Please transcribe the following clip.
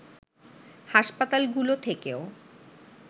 হাসপাতালগুলো থেকেও